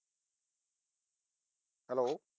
hello